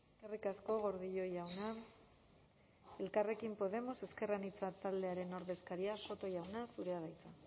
eskerrik asko gordillo jauna elkarrekin podemos ezker anitza taldearen ordezkaria soto jauna zurea da hitza